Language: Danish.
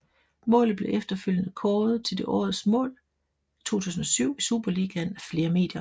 Målet blev efterfølgende kåret til det årets mål 2007 i Superligaen af flere medier